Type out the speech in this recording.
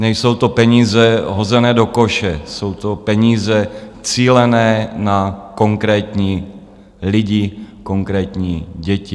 Nejsou to peníze hozené do koše, jsou to peníze cílené na konkrétní lidi, konkrétní děti.